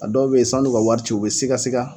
A dɔw be yen sann'u ka wari ci u bɛ siga siga